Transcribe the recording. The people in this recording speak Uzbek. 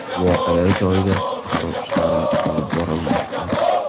Voqea joyida qutqaruv ishlari olib borilmoqda.